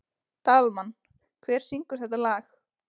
Dalmann, hver syngur þetta lag?